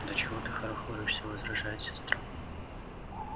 да чего ты хорохоришься возражает сестра